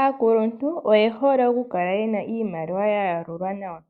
Aakuluntu oyehole okukala Yena iimaliwa yalulwa nawa